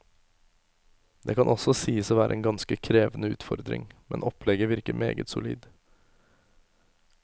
Det kan også sies å være en ganske krevende utfordring, men opplegget virker meget solid.